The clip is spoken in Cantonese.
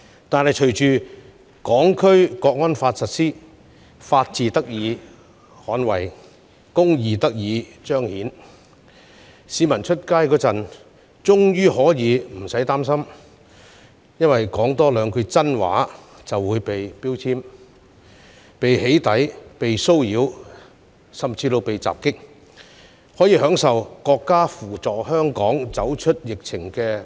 然而，隨着《香港國安法》的實施，法治得以捍衞，公義得以彰顯，市民外出時終於可以無需擔心多說兩句真心話會被"標籤"、被"起底"、被騷擾甚至被襲擊，並可享受國家扶助香港走出疫情的措施。